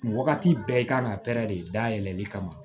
Wagati bɛɛ i kan ka de dayɛlɛli kama